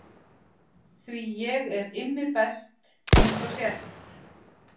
Því ég er Immi best eins og sést.